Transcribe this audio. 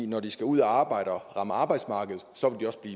når de skal ud at arbejde og rammer arbejdsmarkedet